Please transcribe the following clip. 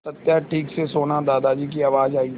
सत्या ठीक से सोना दादाजी की आवाज़ आई